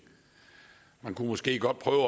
man kunne måske godt prøve